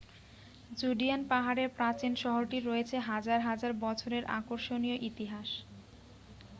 Judean পাহাড়ের প্রাচীন শহরটির রয়েছে হাজার হাজার বছরের আকর্ষণীয় ইতিহাস